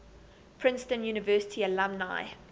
princeton university alumni